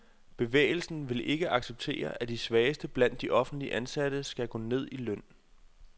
Bevægelsen vil ikke acceptere, at de svageste blandt de offentligt ansatte skal gå ned i løn.